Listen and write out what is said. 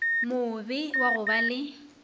mobe wa go ba le